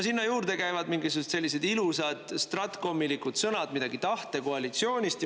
Sinna juurde käivad mingisugused sellised ilusad stratkomilikud sõnad, midagi tahte koalitsioonist.